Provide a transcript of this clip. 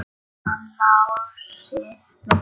Hann Lási minn!